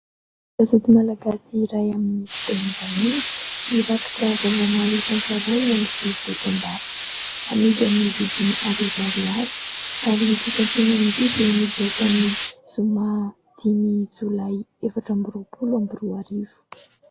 Gazety malagasy iray amin'ny fiteny vahiny, nirakitra vaovao maro isan-karazany sy dokam-barotra, amidy amin'ny vidiny arivo ariary ary ity santionan'ity dia nivoaka ny zoma dimy jolay efatra amby roapolo amby roa arivo.